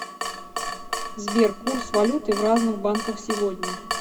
сбер курс валюты в разных банках сегодня